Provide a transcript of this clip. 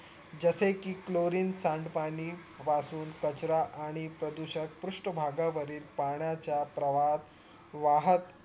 जसे कि Chlorine सांड पाणी वाहून कचरा आणि प्रदूषक पृष्ठभागा वरील पाण्याचा प्रवाहात वाहात